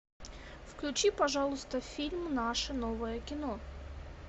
включи пожалуйста фильм наше новое кино